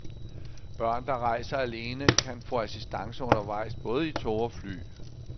Børn, der rejser alene, kan få assistance undervejs både i tog og fly.